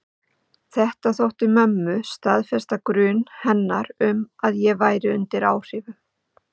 Þetta þótti mömmu staðfesta grun hennar um að ég væri undir áhrifum.